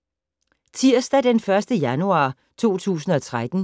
Tirsdag d. 1. januar 2013